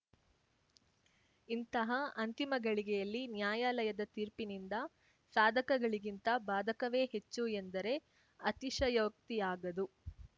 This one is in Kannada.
ಇಂತಹ ಅಂತಿಮ ಗಳಿಗೆಯಲ್ಲಿ ನ್ಯಾಯಾಲಯದ ತೀರ್ಪಿನಿಂದ ಸಾಧಕಗಳಿಗಿಂತ ಬಾಧಕವೇ ಹೆಚ್ಚು ಎಂದರೆ ಅತಿಶಯೋಕ್ತಿಯಾಗದು